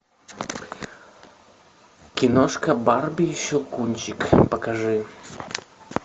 киношка барби и щелкунчик покажи